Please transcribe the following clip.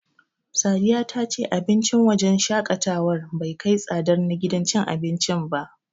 Sadiya ta ce abincin wajen shaƙatawar bai kai tsadar na gidan cin abincin ba.